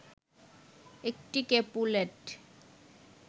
একটি ক্যাপুলেট